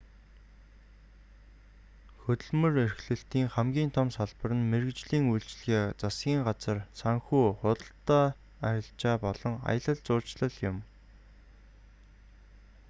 хөдөлмөр эрхлэлтийн хамгийн том салбар нь мэргэжлийн үйлчилгээ засгийн газар санхүү худалдаа арилжаа болон аялал жуулчлал юм